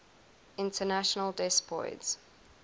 international des poids